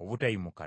obutayimuka nate.”